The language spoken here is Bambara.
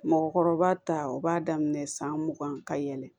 Mɔgɔkɔrɔba ta o b'a daminɛ san mugan ka yɛlɛn